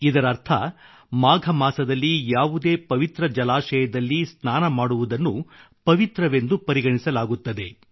ಇದರರ್ಥ ಮಾಘ ಮಾಸದಲ್ಲಿ ಯಾವುದೇ ಪವಿತ್ರ ಜಲಾಶಯದಲ್ಲಿ ಸ್ನಾನ ಮಾಡುವುದನ್ನು ಪವಿತ್ರವೆಂದು ಪರಿಗಣಿಸಲಾಗುತ್ತದೆ